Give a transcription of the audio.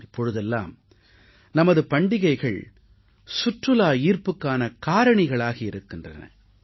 இப்பொழுதெல்லாம் நமது பண்டிகைகள் சுற்றுலா ஈர்ப்புக்கான காரணிகளாகி இருக்கின்றன